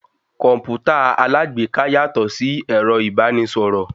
Kọ̀mpútà alágbèéká yàtọ̀ sí ẹ̀rọ ìbánisọ̀rọ̀.